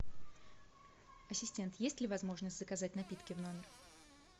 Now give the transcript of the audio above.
ассистент есть ли возможность заказать напитки в номер